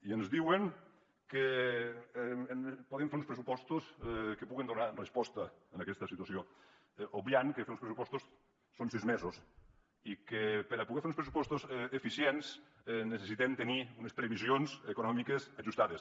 i ens diuen que podem fer uns pressupostos que puguin donar resposta a aquesta situació obviant que fer uns pressupostos són sis mesos i que per a poder fer uns pressupostos eficients necessitem tenir unes previsions econòmiques ajustades